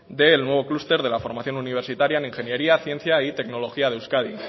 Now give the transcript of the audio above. del nuevo clúster de la formación universitaria en ingeniería ciencia y tecnología de euskadi